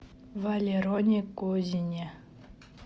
валероне козине